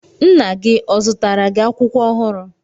Nna gi ọ zụtara gi akwụkwọ ọhụrụ?